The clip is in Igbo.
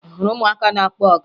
Ị hụrụ ụmụaka na-akpọ ọga?